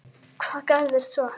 Hvað gerðist svo?